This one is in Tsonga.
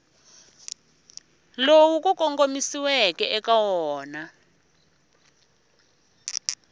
lowu ku kongomisiweke eka wona